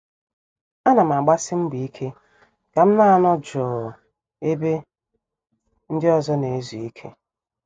A nam agbasi mbọ ike kam na- anọ jụụ ebe ndị ọzọ na-ezu ike.